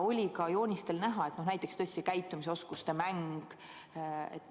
Ka joonistel oli näha näiteks see käitumisoskuste mäng.